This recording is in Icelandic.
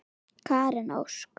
Karen Ósk.